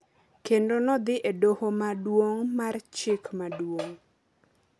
kendo nodhi e doho Maduong’ mar Chik Maduong’